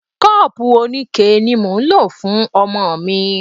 Kọ́pùù oníke ni mò ń lò fún ọmọ mi.